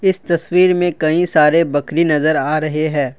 इस तस्वीर में कई सारे बकरी नजर आ रहे हैं।